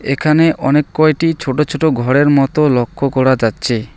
এখানে অনেক কয়টি ছোটো ছোটো ঘরের মতো লক্ষ করা যাচ্ছে।